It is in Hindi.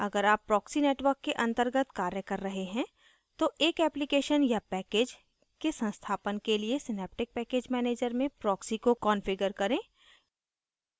अगर आप proxy network के अंतर्गत कार्य कर रहे हैं तो एक application या package के संस्थापन के लिए synaptic package manager में proxy को configure करें